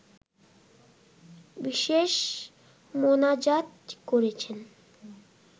বিশেষ মোনাজাত করেছেন